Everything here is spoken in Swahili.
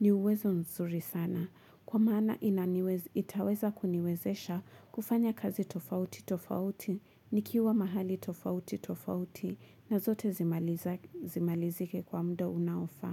ni uwezo nzuri sana kwa maana itaweza kuniwezesha kufanya kazi tofauti tofauti nikiwa mahali tofauti tofauti na zote zimalizike kwa muda unaofaa.